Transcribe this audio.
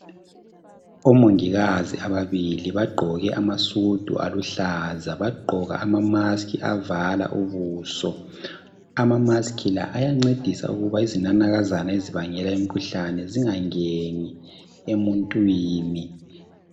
Omongikazi ababili bagqoke amasudu aluhlaza, bagqoka ama mask avala ubuso. Ama mask la ayancedisa ukuba izinanakazana ezibangela imkhuhlane zingangeni emuntwini.